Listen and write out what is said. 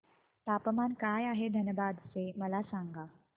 तापमान काय आहे धनबाद चे मला सांगा